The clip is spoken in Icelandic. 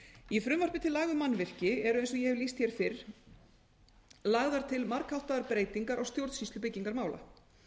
í frumvarpi til laga um mannvirki er eins og ég hef lýst hér fyrr lagðar til margháttaðar breytingar á stjórnsýslu byggingarmála